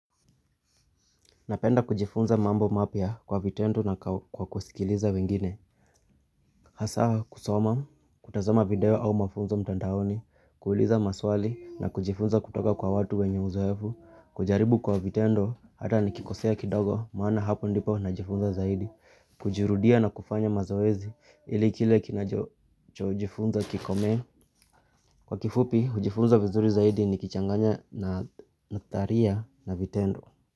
Napenda kujifunza mambo mapya kwa vitendo na kwa kusikiliza wengine. Hasa kusoma, kutazama video au mafunzo mtandaoni, kuuliza maswali na kujifunza kutoka kwa watu wenye uzoefu, kujaribu kwa vitendo hata nikikosea kidogo maana hapo ndipo na jifunza zaidi, kujurudia na kufanya mazoezi ilikile kinajo chojifunza kikome. Kwa kifupi, hujifunza vizuri zaidi nikichanganya na taria na vitendo.